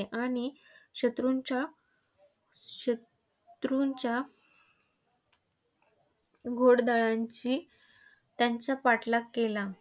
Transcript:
आणि शत्रूंच्या शतरुंच्या घोडदळांनी त्यांचा पाठलाग केला.